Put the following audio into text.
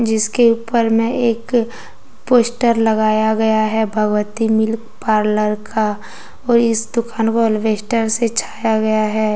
जिसके ऊपर में एक पोस्टर लगाया गया है भगवती मिल्क पार्लर का और इस दुकान को अल्वेस्टर से छाया गया है।